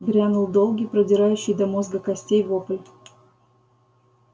грянул долгий продирающий до мозга костей вопль